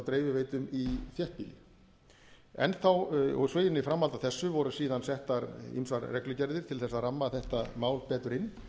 dreifiveitum í þéttbýli í framhaldi af þessu voru síðan settar ýmsar reglugerðir til að ramma þetta mál betur inn